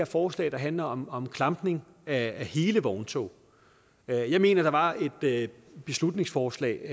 forslag der handler om om klampning af hele vogntog jeg mener der var et beslutningsforslag